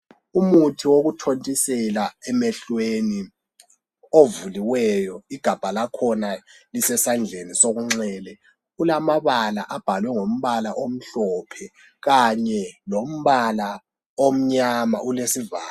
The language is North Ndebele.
Umuthi wokuthintisela emehlweni ovuliweyo, igabha lakhona lisesandleni senxele. Ulamabala abhalwe ngombala omhlophe, kanye lombala omnyama. Ulesivalo ...